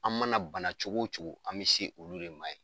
An mana bana cogo cogo, an bɛ se olu de ma ye.